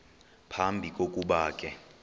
phambi kokuba ke